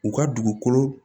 U ka dugukolo